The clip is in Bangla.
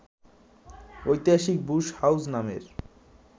ঐতিহাসিক বুশ হাউস নামের